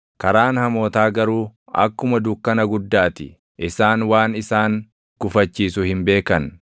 Karaan hamootaa garuu akkuma dukkana guddaa ti; isaan waan isaan gufachiisu hin beekan.